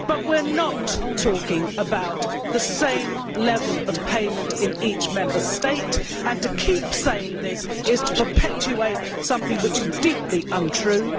We are not talking about the same level of payment in each Member State and to keep saying this is to perpetuate something which is deeply untrue.